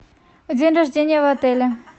день рождения в отеле